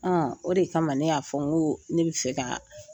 O de kama ne y'a fɔ, n ko ne bi fe ka.